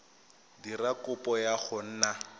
dira kopo ya go nna